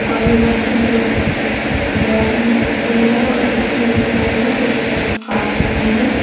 और यह मछलियां बेकड़ी मच्छी हैं और कुछ खरीद रहे हैं। कुछ लोग काट रहे हैं।